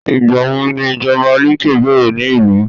igbawo ni ìjọba like bẹrẹ ni ilu